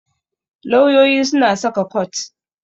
Lauyoyi suna saka kot.